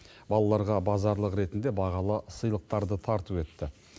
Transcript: балаларға базарлық ретінде бағалы сыйлықтарды тарту етті